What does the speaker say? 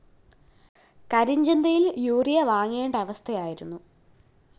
കരിഞ്ചന്തയില്‍ urea വാങ്ങേണ്ട അവസ്ഥയായിരുന്നു